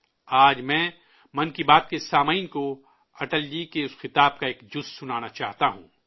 آج میں 'من کی بات' کے سامعین کو، اٹل جی کے اس خطاب کا ایک حصہ سنانا چاہتا ہوں